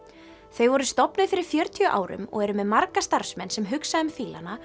þau voru stofnuð fyrir fjörutíu árum og eru með marga starfsmenn sem hugsa um